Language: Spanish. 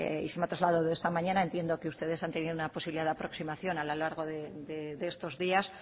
y se me ha trasladado esta mañana entiendo que ustedes han tenido una posibilidad de aproximación a lo largo de estos días